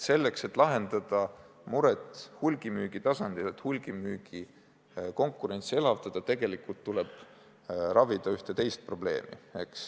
Selleks, et lahendada mure hulgimüügi tasandil, et hulgimüügi konkurentsi elavdada, tuleb tegelikult lahendada ühte teist probleemi.